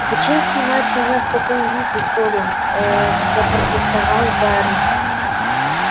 зачем снимать меня в таком виде колин ээ запротестовал гарри